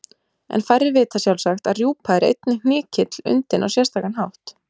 En færri vita sjálfsagt að rjúpa er einnig hnykill undinn á sérstakan hátt.